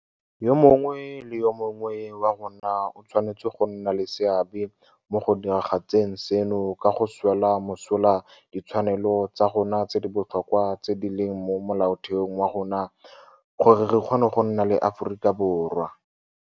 Yo mongwe le yo mongwe wa rona o tshwanetse go nna le seabe mo go diragatseng seno ka go swela mosola ditshwanelo tsa rona tse di botlhokwa tse di leng mo Molaotheong wa rona gore re kgone go nna le Aforika Borwa.